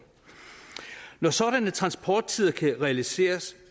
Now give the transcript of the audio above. når sådanne transporttider kan realiseres